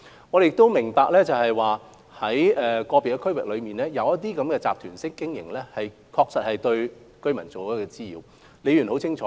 我們亦明白，在個別地區，旅行團的活動確實對居民造成滋擾。